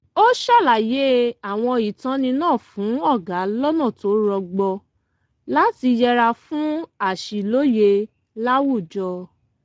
ó ṣàlàyé àwọn ìtọ́ni náà fún ọ̀gá lọ́nà tó rọgbọ láti yẹra fún àṣìlóye láwùjọ